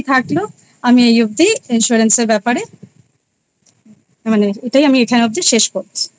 থাকলো আমি এই অব্দি Insurance এর ব্যাপারে তালে আমি এখান অব্দি শেষ করছি।